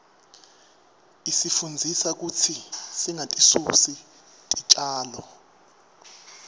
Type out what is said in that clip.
isifundzisa kutsi singatisusi titjalo